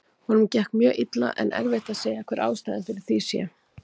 Honum gekk mjög illa en erfitt að segja hver ástæðan fyrir því sé.